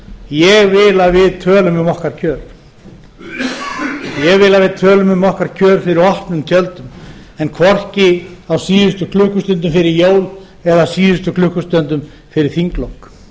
ég vil að við tölum um okkar kjör ég vil að við tölum um okkar kjör fyrir opnum tjöldum en hvorki á síðustu jlukksutundum fyrir jól eða síðustu klukkustundum fyrir þinglok